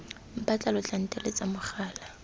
mpatla lo tla nteletsa mogala